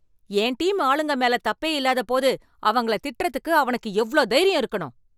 என் team ஆளுங்க மேல தப்பே இல்லாத போது, அவங்கள திட்டுறதுக்கு அவனுக்கு எவ்ளோ தைரியம் இருக்கணும்